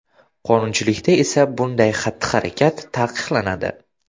Qonunchilikda esa bunday xatti-harakat taqiqlanadi.